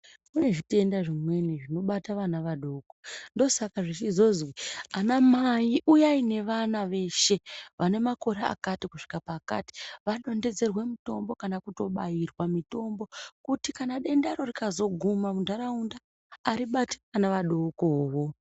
Kune zvitenda zvimweni zvinobata vana vadoko ndosaka zvichizozwi ana mai uyai nevana veshe vane makore akati kusvika pakati. Vanonhedzerwe mutombo kana kutobaiva mutombo kuti kana dendaro rikazoguma muntaraunda haribati vana adokovo.